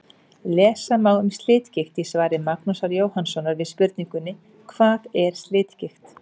Lesa má um slitgigt í svari Magnúsar Jóhannssonar við spurningunni: Hvað er slitgigt?